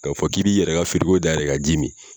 K' a fɔ k'i bɛi yɛrɛ ka firigo dayɛlɛ ka ji mi